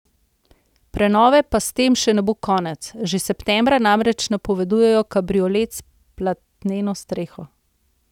Prenove pa s tem še ne bo konec, že septembra namreč napovedujejo kabriolet s platneno streho.